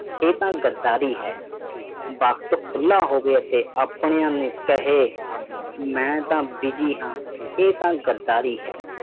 ਇਹ ਤਾਂ ਗਦਾਰੀ ਹੈ ਵਕਤ ਖੁਲ੍ਹਾ ਹੋਵੇ ਤੇ ਆਪਣਿਆਂ ਨੂੰ ਕਹੇ ਮੈਂ ਤਾਂ busy ਹਾਂ ਇਹ ਤਾਂ ਗਦਾਰੀ ਹੈ